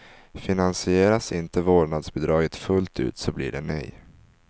Finansieras inte vårdnadsbidraget fullt ut så blir det nej.